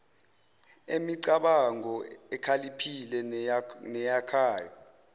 emicabango ekhaliphile neyakhayo